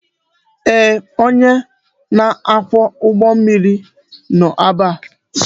Ee, onye na-akwọ ụgbọ mmiri nọ ebe a